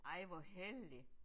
Ej hvor heldigt